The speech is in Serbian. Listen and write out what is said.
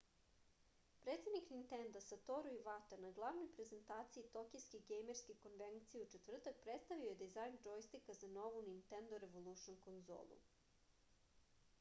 predsednik nintenda satoru ivata na glavnoj prezentaciji tokijske gejmerske konvencije u četvrtak predstavio je dizajn džojstika za novu nintendo revolušn konzolu